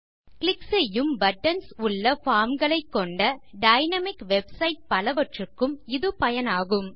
click செய்யும் buttons உள்ள form களை கொண்ட டைனாமிக் வெப்சைட் பலவற்றுக்கும் இது பயனாகும்